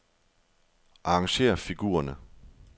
Arrangér figurerne.